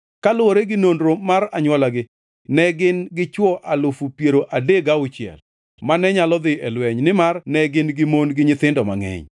Kaluwore gi nonro mar anywolagi ne gin gi chwo alufu piero adek gauchiel (36,000) mane nyalo dhi e lweny, nimar ne gin gi mon gi nyithindo mangʼeny.